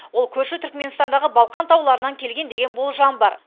ол көрші түркіменстандағы балқан тауларынан келген деген болжам бар